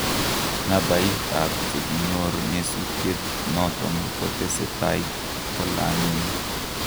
Nabait ap chekonyor nyesuteit naton kotesetai kolanyen